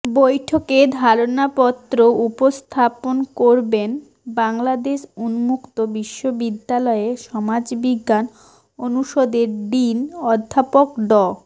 বৈঠকে ধারণাপত্র উপস্থাপন করবেন বাংলাদেশ উন্মুক্ত বিশ্ববিদ্যালয়ের সমাজবিজ্ঞান অনুষদের ডিন অধ্যাপক ড